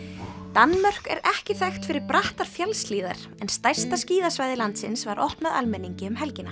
Danmörk er ekki þekkt fyrir brattar fjallshlíðar en stærsta skíðasvæði landsins var opnað almenningi um helgina